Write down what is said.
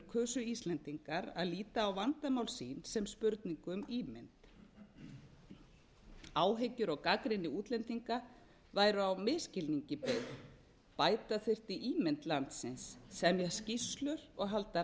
kusu íslendingar að líta á vandamál sín sem spurningu um ímynd áhyggjur og gagnrýni útlendinga væru á misskilningi byggð bæta þyrfti ímynd landsins semja skýrslur og halda